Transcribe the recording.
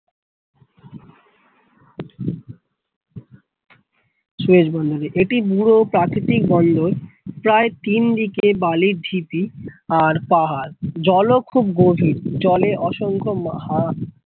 Suez বন্দরে এটি পুরো প্রাকৃতিক বন্দর প্রায় তিন দিকে বালির ঢিপি আর পাহাড় জল ও খুব গভীর জলে অসংখ্য মা হা